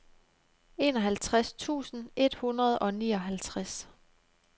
enoghalvtreds tusind et hundrede og nioghalvtreds